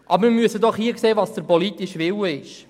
Aber wir müssen sehen, was dem politischen Willen entspricht.